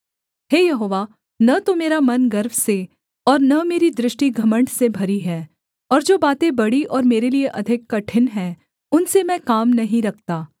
हे Jehovah न तो मेरा मन गर्व से और न मेरी दृष्टि घमण्ड से भरी है और जो बातें बड़ी और मेरे लिये अधिक कठिन हैं उनसे मैं काम नहीं रखता